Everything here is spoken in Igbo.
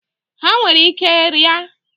Ha nwerekwara ike ria.